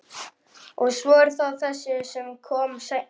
Og svo er það þessi sem kom seinna.